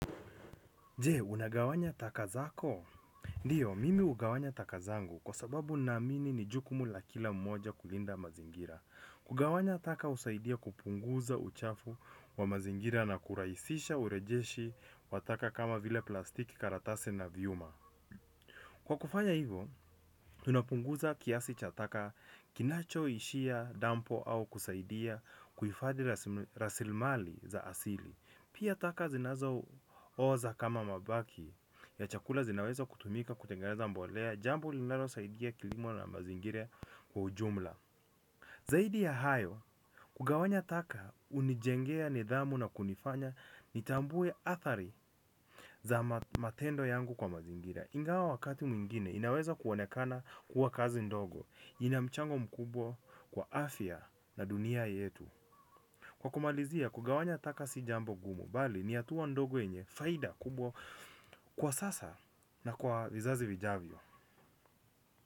Je, unagawanya taka zako? Ndiyo, mimi hugawanya taka zangu kwa sababu naamini ni jukumu la kila mmoja kulinda mazingira. Kugawanya taka husaidia kupunguza uchafu wa mazingira na kurahisisha urejeshi wa taka kama vile plastiki, karatasi na vyuma. Kwa kufanya hivyo, tunapunguza kiasi cha taka kinachoishia, dampu au kusaidia kuhifadi rasilimali za asili. Pia taka zinazo oza kama mabaki ya chakula zinaweza kutumika kutengaleza mbolea. Jambo linalosaidia kilimo na mazingira kwa ujumla. Zaidi ya hayo, kugawanya taka hunijengea nidhamu na kunifanya nitambuwe athari za matendo yangu kwa mazingira ingawa wakati mwingine inaweza kuonekana kuwa kazi ndogo, ina mchango mkubwa kwa afya na dunia yetu. Kwa kumalizia, kugawanya taka si jambo gumu, bali ni hatua ndogo yenye faida kubwa kwa sasa na kwa vizazi vijavyo.